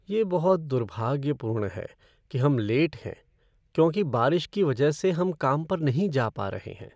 यह बहुत दुर्भाग्यपूर्ण है कि हम लेट हैं क्योंकि बारिश की वजह से हम काम पर नहीं जा पा रहे हैं।